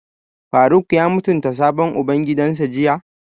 Faruk ya mutunta sabon ubangidansa jiya?